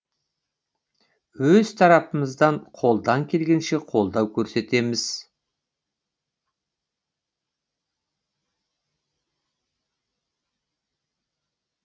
өз тарапымыздан қолдан келгенше қолдау көрсетеміз